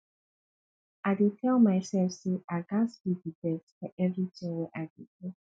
i dey tell myself say i gats be the best for everything wey i dey do